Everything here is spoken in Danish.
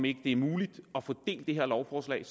ikke er muligt at få det her lovforslag